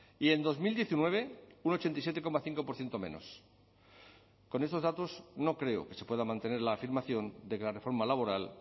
y en dos mil diecinueve un ochenta y siete coma cinco por ciento menos con estos datos no creo que se pueda mantener la afirmación de que la reforma laboral